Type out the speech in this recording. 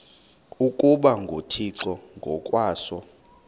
ukuba nguthixo ngokwaso